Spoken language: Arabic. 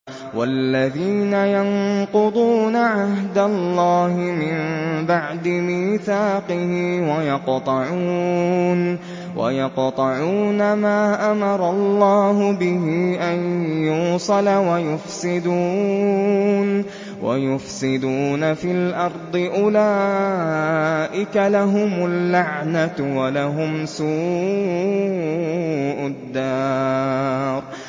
وَالَّذِينَ يَنقُضُونَ عَهْدَ اللَّهِ مِن بَعْدِ مِيثَاقِهِ وَيَقْطَعُونَ مَا أَمَرَ اللَّهُ بِهِ أَن يُوصَلَ وَيُفْسِدُونَ فِي الْأَرْضِ ۙ أُولَٰئِكَ لَهُمُ اللَّعْنَةُ وَلَهُمْ سُوءُ الدَّارِ